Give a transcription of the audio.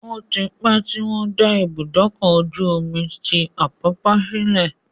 Ó ti pẹ́ tí wọ́n dá Ibùdókọ̀-ojú omi tí Àpápá sílẹ̀